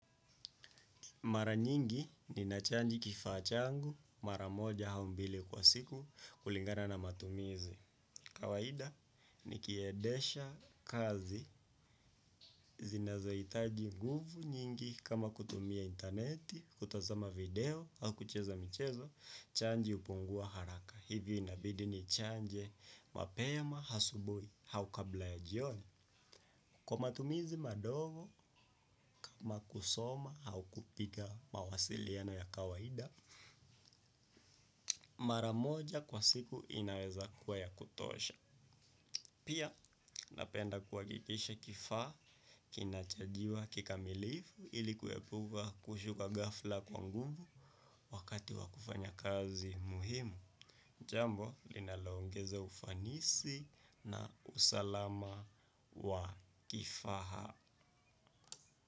Mara nyingi ninachaji kifaa changu mara moja au mbili kwa siku kulingana na matumizi. Kawaida nikiedesha kazi zinazohitaji nguvu nyingi kama kutumia interneti, kutazama video, au kucheza michezo, chaji hupungua haraka. Hivyo inabidi nichanje mapema, asubuhi, au kabla ya jioni. Kwa matumizi madogo kama kusoma au kupiga mawasiliano ya kawaida, mara moja kwa siku inaweza kuwa ya kutosha. Pia napenda kuhakikisha kifaa kinachajiwa kikamilifu ili kuepuka kushuka ghafla kwa nguvu wakati wa kufanya kazi muhimu. Jambo, linaloongeza ufanisi na usalama wa kifaa.